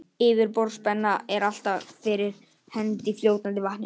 Yfirborðsspenna er alltaf fyrir hendi í fljótandi vatni.